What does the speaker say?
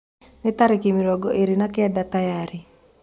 ni tarĩkĩ mĩrongo ĩrĩ na kenda tayarĩ